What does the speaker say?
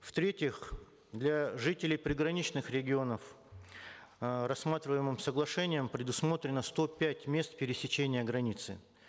в третьих для жителей приграничных регионов э рассматриваемым соглашением предусмотрено сто пять мест пересечения границы